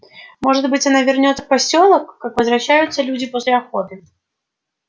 может быть она вернётся в посёлок как возвращаются люди после охоты